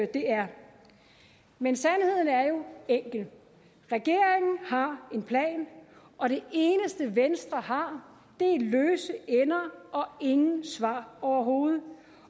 det er men sandheden er jo enkel regeringen har en plan og det eneste venstre har er løse ender og ingen svar overhovedet